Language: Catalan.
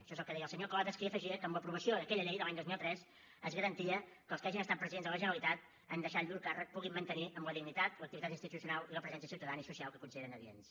això és el que deia el senyor clotas que hi afegia que amb l’aprovació d’aquella llei de l’any dos mil tres es garantia que els que hagin estat presidents de la generalitat en deixar llur càrrec puguin mantenir amb la dignitat l’activitat institucional i la presència ciutadana i social que considerin adients